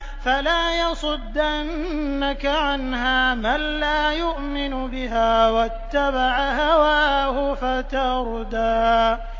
فَلَا يَصُدَّنَّكَ عَنْهَا مَن لَّا يُؤْمِنُ بِهَا وَاتَّبَعَ هَوَاهُ فَتَرْدَىٰ